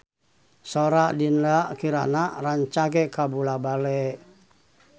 Sora Dinda Kirana rancage kabula-bale